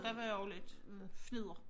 Der var også lidt fnidder